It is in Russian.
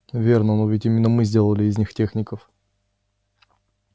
верно но ведь именно мы сделали из них техников